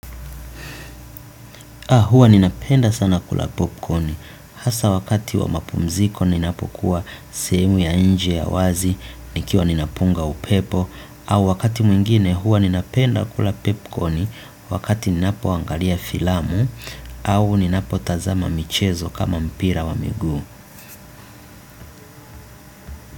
Hua ninapenda sana kula popcorni hasa wakati wa mapumziko ninapokuwa sehemu ya nje ya wazi nikiwa ninapunga upepo au wakati mwingine huwa ninapenda kula popcorni wakati ninapo angalia filamu au ninapo tazama michezo kama mpira wa miguu.